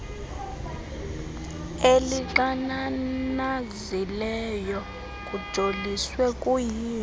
elixananazileyo kujoliswe kuyilo